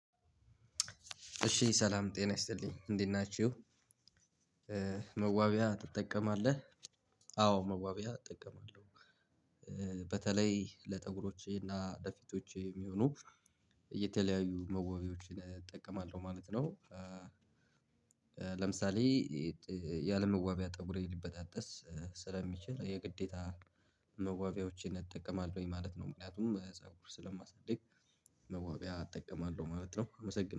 እሺ ሰላም ጤና ይስጥልኝ እንዴት ናችሁ? መዋቢያ ትጠቀማለህ? አዎ መዋቢያ እጠቀማለሁ በተለይ ለጠጉሮቼ እና ለፊቶቼ የሚሆኑ የተለያዩ መዋቢያዎችን እጠቀማለሁ ማለት ነው። ለምሳሌ ያለመዋቢያ ጠጉሬ ሊበጣጠስ ስለሚችል የግዴታ መዋቢያዎችን እጠቀማለሁ ማለት ነው። ምክንያቱም በዛው ጥሰጉሩ ስለማሳደግ መዋቢያ እጠቀማለሁ ማለት ነው። አመሰግናለሁ